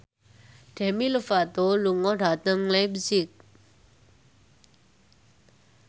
Demi Lovato lunga dhateng leipzig